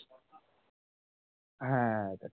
হ্যাঁ হ্যাঁ